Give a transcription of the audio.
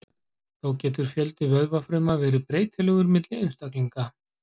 Þó getur fjöldi vöðvafruma verið breytilegur milli einstaklinga.